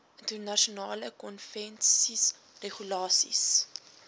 internasionale konvensies regulasies